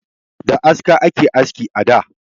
Da aska ake aski a da